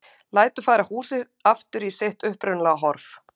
Lætur færa húsið aftur í sitt upprunalega horf.